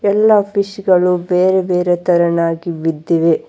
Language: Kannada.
ಎಲ್ಲಾ ಫಿಶ್ ಗಳು ಬೇರೆ ಬೇರೆ ತರನಾಗಿ ಬಿದ್ದಿವೆ.